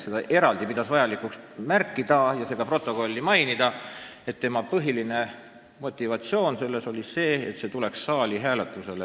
Ta pidas vajalikuks protokolli jaoks eraldi märkida, et tema põhiline motiiv oli see, et muudatus tuleks saali hääletusele.